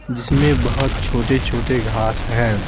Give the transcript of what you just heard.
जिसमें बहुत छोटे-छोटे घास हैं।